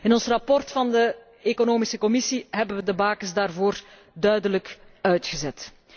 In ons verslag van de economische commissie hebben we de bakens daarvoor duidelijk uitgezet.